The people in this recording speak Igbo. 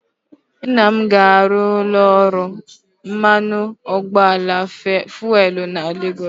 Nna m ga-arụ ụlọ ọrụ mmanụ ụgbọala fuelu na Legọs